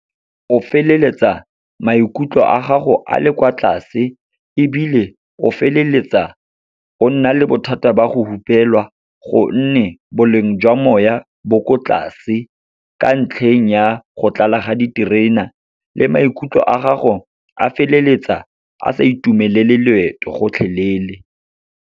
O feleletsa maikutlo a gago a le kwa tlase. Ebile, o feleletsa o nna le bothata ba go hupelwa, gonne boleng jwa moya bo ko tlase ka ntlheng ya go tlala ga diterena le maikutlo a gago, a feleletsa a sa itumelele loeto gotlhelele.